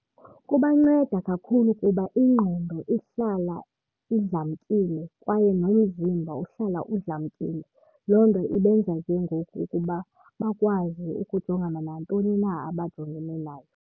Kubanceda kakhulu kuba ingqondo ihlala idlamkile kwaye nomzimba uhlala udlamkile. Loo nto ibenza ke ngoku ukuba bakwazi ukujongana nantoni na abajongene nayo.